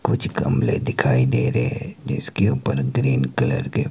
कुछ गमले दिखाई दे रहे हैं जिसके ऊपर ग्रीन कलर के--